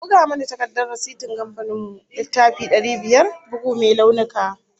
A buga mana takardar rasitin kamfanin mu, littafi dari biyar, bugu mai launuka